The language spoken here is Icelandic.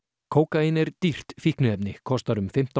kókaín er dýrt fíkniefni kostar um fimmtán